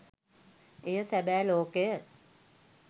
එය සැබෑ ලෝකය